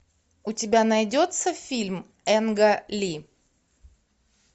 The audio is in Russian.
у тебя найдется фильм энга ли